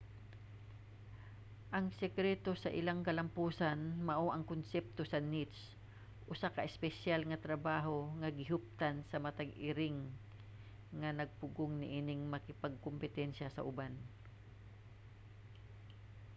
ang sekreto sa ilang kalampusan mao ang konsepto sa niche usa ka espesyal nga trabaho nga gihuptan sa matag iring nga nagpugong niining makigkompetensya sa uban